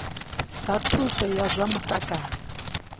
zwa thuso ya zwa mutakalo